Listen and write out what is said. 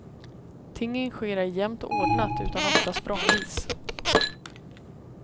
Tingen sker ej jämnt och ordnat, utan ofta språngvis.